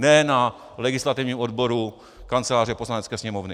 Ne na legislativním odboru Kanceláře Poslanecké sněmovny.